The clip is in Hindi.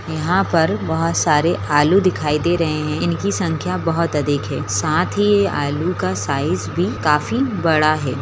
यहाँ पर बहुत सारे आलू दिखाई दे रहे हैं | इनकी संख्या बहुत अधिक है साथ ही ये आलू का साइज़ भी काफी बड़ा है |